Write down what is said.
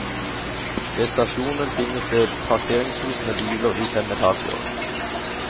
Ved stasjonen finnes det parkeringshus med biler i fem etasjer.